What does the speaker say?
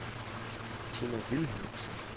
Tina Vilhelmsen